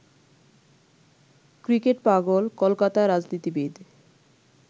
ক্রিকেটপাগল কলকাতা রাজনীতিবিদ